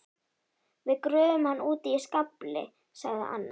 Við gröfum hann úti í skafli sagði Anna.